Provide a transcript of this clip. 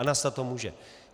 A nastat to může.